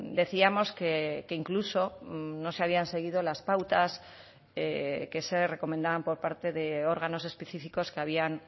decíamos que incluso no se habían seguido las pautas que se recomendaban por parte de órganos específicos que habían